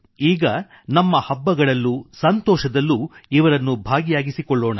ಈಗ ನಮ್ಮ ಹಬ್ಬಗಳಲ್ಲೂ ಸಂತೋಷದಲ್ಲೂ ಇವರನ್ನು ಭಾಗಿಯಾಗಿಸಿಕೊಳ್ಳೋಣ